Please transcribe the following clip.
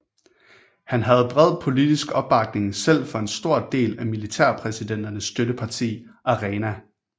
Han havde bred politisk opbakning selv fra en stor del af militærpræsidenternes støtteparti ARENA